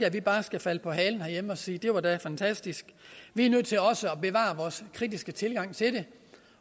at vi bare skal falde på halen herhjemme og sige at det var da fantastisk vi er nødt til også at bevare vores kritiske tilgang til det